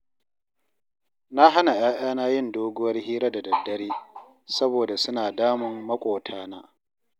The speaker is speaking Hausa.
Na hana ‘ya’yana yin doguwar hira da daddare, saboda suna damun maƙotana